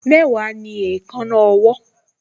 Mẹ́wàá ni èékánná ọwọ́